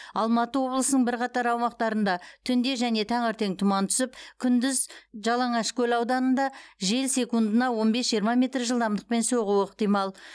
алматы облысының бірқатар аумақтарында түнде және таңертең тұман түсіп күндіз жалаңашкөл ауданында жел секундына он бес жиырма метр жылдамдықпен соғуы ықтимал